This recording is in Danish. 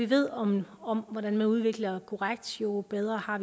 ved om om hvordan man udvikler korrekt jo bedre har